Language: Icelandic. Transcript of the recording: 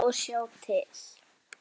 Bíða og sjá til.